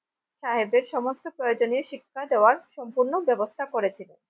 সাহেবের সমস্ত প্রয়োজনীয় শিক্ষা দেওয়ার সম্পূর্ণ ব্যবস্থা করেছিলেন।